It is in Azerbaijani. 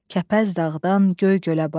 Kəpəz dağdan Göygölə bax.